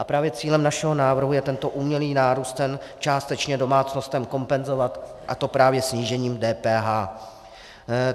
A právě cílem našeho návrhu je tento umělý nárůst cen částečně domácnostem kompenzovat, a to právě snížením DPH.